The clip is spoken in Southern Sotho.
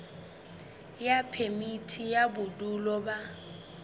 ya phemiti ya bodulo ba